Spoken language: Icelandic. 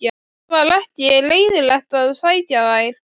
Það var ekki leiðinlegt að sækja þær.